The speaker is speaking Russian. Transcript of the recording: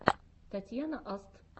татьяна аст